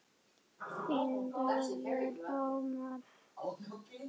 Þín dóttir, Guðlaug Anna.